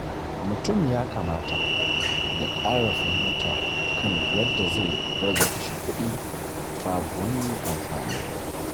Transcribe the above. Mutum ya kamata ya ƙara fahimta kan yadda zai rage kashe kuɗi babu wani amfani.